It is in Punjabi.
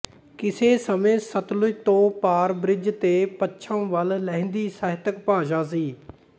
ਕਿਸੇ ਸਮੇਂ ਸਤਲੁਜ ਤੋਂ ਪਾਰ ਬ੍ਰਿਜ ਤੇ ਪੱਛਮ ਵੱਲ ਲਹਿੰਦੀ ਸਾਹਿਤਕ ਭਾਸ਼ਾ ਸੀ